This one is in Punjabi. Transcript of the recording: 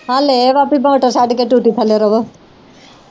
ਹਲ ਇਹ ਵਾ ਕੇ ਮੋਟਰ ਛੱਡ ਕੇ ਟੂਟੀ ਥੱਲੇ ਰਹੋ।